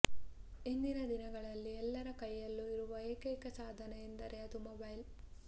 ಇಂದಿನ ದಿನಗಳಲ್ಲಿ ಎಲ್ಲರ ಕೈಯಲ್ಲೂ ಇರುವ ಏಕೈಕ ಸಾಧನ ಎಂದರೆ ಅದು ಮೊಬೈಲ್